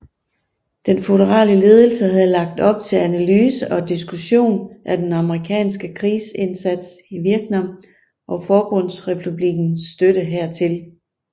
Den føderale ledelse havde lagt op til analyse og diskussion af den amerikanske krigsindsats i Vietnam og Forbundsrepublikkens støtte hertil